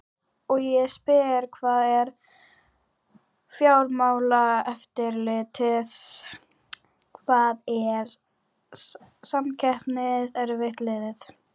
Og ég spyr hvar er Fjármálaeftirlitið, hvar er Samkeppniseftirlitið?